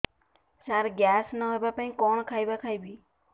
ସାର gas ନ ହେବା ପାଇଁ କଣ ଖାଇବା ଖାଇବି